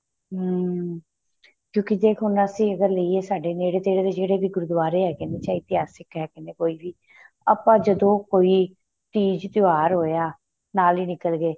ਹਮ ਕਿਉ ਦੇਖ ਹੁਣ ਅਸੀਂ ਅਗਰ ਲਈਏ ਸਾਡੇ ਨੇੜੇ ਤੇੜੇ ਦੇ ਜਿਹੜੇ ਗੁਰੂਦਵਾਰੇ ਹੈਗੇ ਏ ਚਾਹੇ ਇਤਿਹਾਸਿਕ ਹੈਗੇ ਨੇ ਕੋਈ ਵੀ ਆਪਾਂ ਜਦੋਂ ਕੋਈ ਤੀਜ ਤਿਉਹਾਰ ਹੋਇਆ ਨਾਲ ਹੀ ਨਿੱਕਲ ਗਏ